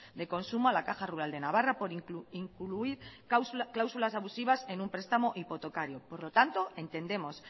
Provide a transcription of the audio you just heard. de consumo a la caja rural de navarra por incluir cláusulas abusivas en un prestamo hipotecario por lo tanto entendemos